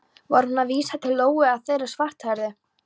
Var hún að vísa til Lóu eða þeirrar svarthærðu?